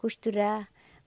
Costurar.